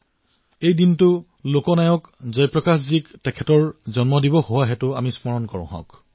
সিদিনা আমি ভাৰতৰত্ন লোকনায়ক জয় প্ৰকাশজীক স্মৰণ কৰো